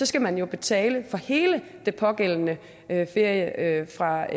skal man jo betale for hele den pågældende ferie fra